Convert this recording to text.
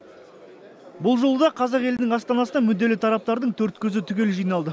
бұл жолы да қазақ елінің астанасына мүдделі тараптардың төрт көзі түгел жиналды